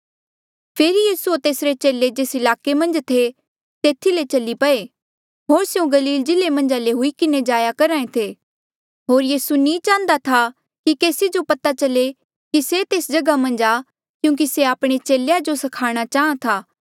फेरी यीसू होर तेसरे चेले जेस ईलाके मन्झ थे तेथी ले चली पये होर स्यों गलील जिल्ले मन्झा ले हुई किन्हें जाया करहा ऐें थे होर यीसू नी चाहन्दा था कि केसी जो पता चले कि से तेस जगहा मन्झ आ क्यूंकि से आपणे चेलेया जो स्खाणा चाहाँ था